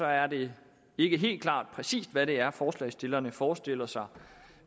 er det ikke helt klart præcis hvad det er forslagsstillerne forestiller sig